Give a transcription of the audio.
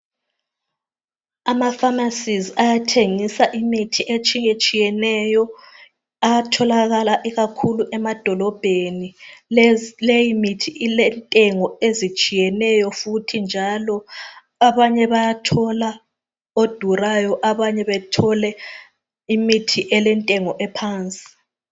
Amapharmacies ayathengisa imithi etshiyetshiyeneyo. Ayatholakala ikakhulu emadolobheni. Leyimithi ilentengo ezitshiyeneyo. Futhi njalo, abanye bayathola odurayo. Abanye bethole imithi elentengo ephansi.